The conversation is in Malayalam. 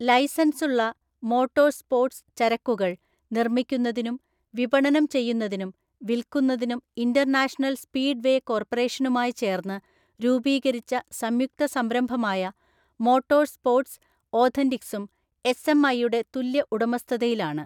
ലൈസൻസുള്ള മോട്ടോർസ്പോർട്സ് ചരക്കുകൾ നിർമ്മിക്കുന്നതിനും വിപണനം ചെയ്യുന്നതിനും വിൽക്കുന്നതിനും ഇന്റർനാഷണൽ സ്പീഡ് വേ കോർപ്പറേഷനുമായി ചേർന്ന് രൂപീകരിച്ച സംയുക്ത സംരംഭമായ മോട്ടോർസ്പോർട്സ് ഓഥന്റിക്ക്സും എസ്എംഐയുടെ തുല്യ ഉടമസ്ഥതയിലാണ്.